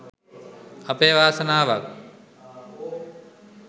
අපේ වාසනාවක්